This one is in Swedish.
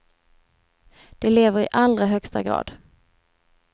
Det lever i allra högsta grad.